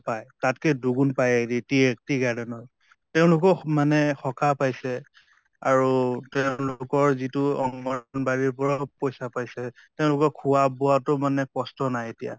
পায় তাতকৈ দুগুন পায় tea garden ৰ । তেওঁলোকো মানে সকাহ পাইছে আৰু তেওঁলোকৰ যিটো অঙ্গনবাদিৰ পৰাও পইছা পাইছে । তেওঁলোকৰ খোৱা বোৱাতো মানে কষ্ট নাই এতিয়া